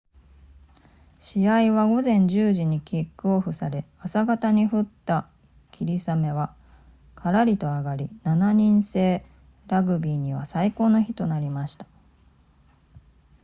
試合は午前10時にキックオフされ朝方に降った霧雨はからりと上がり7人制ラグビーには最高の日となりました